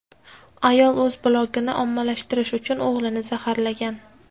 Ayol o‘z blogini ommalashtirish uchun o‘g‘lini zaharlagan.